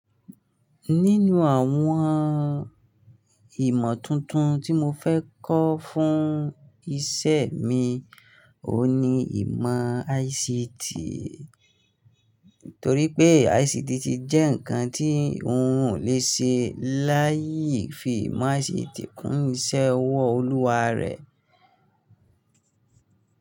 Nínú àwọn ìmọ̀ tuntun tí mo fẹ́ kọ́ fún iṣẹ́ mi, ohun ni ìmọ̀ ICT. Torí pé ICT ti jẹ́ ǹkan tí un lè ṣe láì fi ìmọ̀ ICT kún iṣẹ́ ọwọ́ Olúwa rẹ̀.